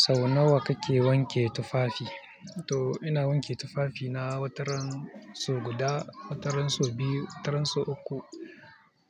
Sau nawa kake wanke tufafi? To ina wanke tufafina wataran sau guda, wataran sau biyu, wataran sau uku